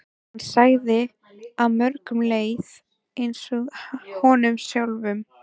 Hann sá að mörgum leið eins og honum sjálfum.